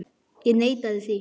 Ég neitaði því.